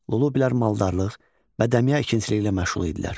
Lullubilər maldarlıq və dəmiya ikinciliyi ilə məşğul idilər.